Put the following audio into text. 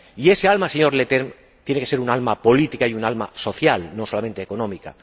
Y ese alma, señor Leterme, tiene que ser un alma política y un alma social, no solamente económica.